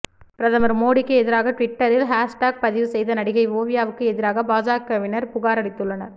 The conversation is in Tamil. பிரதமர் மோடிக்கு எதிராக ட்விட்டரில் ஹேஸ்டேக் பதிவு செய்த நடிகை ஓவியாவுக்கு எதிராக பாஜகவினர் புகாரளித்துள்ளனர்